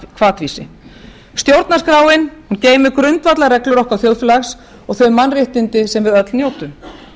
hvatvísi stjórnarskráin geymir grundvallarreglur okkar þjóðfélags og þau mannréttindi sem við öll njótum